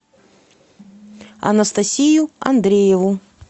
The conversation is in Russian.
анастасию андрееву